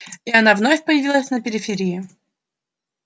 и она вновь появилась на периферии